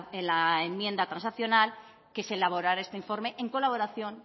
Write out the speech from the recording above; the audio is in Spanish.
en la enmienda transaccional que se elaborará este informe en colaboración